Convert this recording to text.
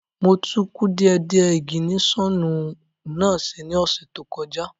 Mo tún kùdìẹ̀kudie ìgìnísọ̀nù náà ṣe ní oṣù tó kọjá